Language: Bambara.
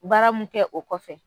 Baara mun kɛ o kɔfɛ